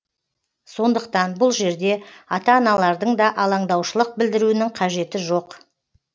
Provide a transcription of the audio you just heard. сондықтан бұл жерде ата аналардың да алаңдаушылық білдіруінің қажеті жоқ